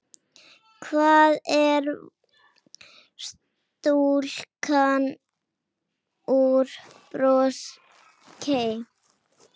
Hvar var stúlkan úr Brokey?